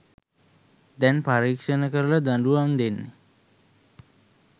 දැන් පරීක්ෂණ කරලදඬුවම් දෙන්නෙ